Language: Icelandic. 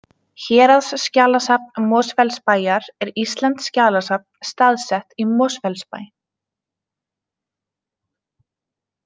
Héraðsskjalasafn Mosfellsbæjar er íslenskt skjalasafn staðsett í Mosfellsbæ.